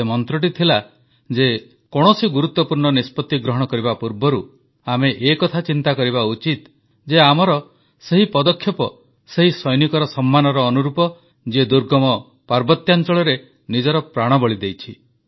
ସେ ମନ୍ତ୍ରଟି ହେଉଛି କୌଣସି ଗୁରୁତ୍ୱପୂର୍ଣ୍ଣ ନିଷ୍ପତ୍ତି ଗ୍ରହଣ କରିବା ପୂର୍ବରୁ ଆମେ ଏକଥା ଚିନ୍ତା କରିବା ଉଚିତ ଯେ ଆମର ପଦକ୍ଷେପ ସେହି ସୈନିକର ସମ୍ମାନର ଅନୁରୂପ ତ ଯିଏ ଦୁର୍ଗମ ପାର୍ବତ୍ୟାଂଚଳରେ ନିଜର ପ୍ରାଣବଳି ଦେଇଛି